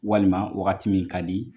Walima wagati min ka di